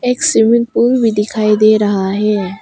एक swimming pool भी दिखाई दे रहा है।